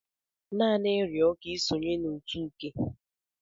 Naanị rịọ ka isonye na otu Uke.